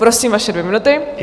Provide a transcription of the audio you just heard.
Prosím, vaše dvě minuty.